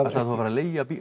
ætlar þú að fara að leigja